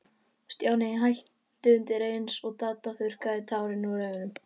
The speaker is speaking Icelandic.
Stjáni hætti undir eins, og Dadda þurrkaði tárin úr augunum.